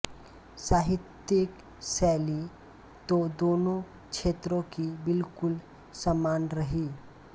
साहित्यिक शैली तो दोनों क्षेत्रों की बिल्कुल समान रही